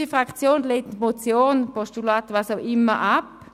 Unsere Fraktion lehnt die Motion oder auch das Postulat ab.